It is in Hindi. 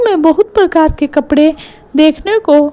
मैं बहुत प्रकार के कपड़े देखने को--